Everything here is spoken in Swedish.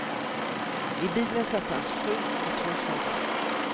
I bilen satt hans fru och två små barn.